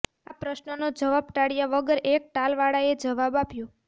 આ પ્રશ્નનો જવાબ ટાળ્યા વગર એક ટાલવાળાએ જવાબ આપ્યો